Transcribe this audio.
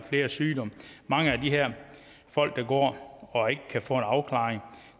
flere sygdomme mange af de her folk der går og ikke kan få en afklaring